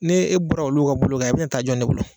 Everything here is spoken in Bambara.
Ni e bɔra olu ka bolo kan a bɛ ta jɔn de bolo